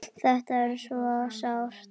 Þetta er svo sárt.